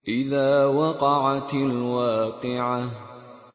إِذَا وَقَعَتِ الْوَاقِعَةُ